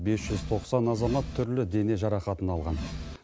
бес жүз тоқсан азамат түрлі дене жарақатын алған